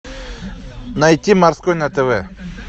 найти морской на тв